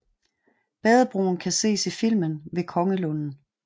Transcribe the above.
Badebroen kan ses i filmen Ved Kongelunden